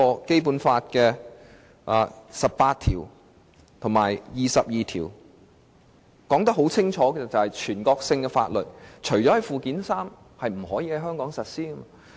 《基本法》第十八條和第二十二條清楚訂明，"全國性法律除列於本法附件三者外，不在香港特別行政區實施。